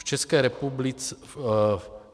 V